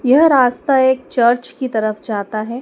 यह रास्ता एक चर्च की तरफ जाता है।